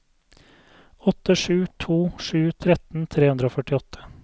åtte sju to sju tretten tre hundre og førtiåtte